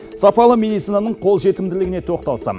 сапалы медицинаның қолжетімділігіне тоқталсам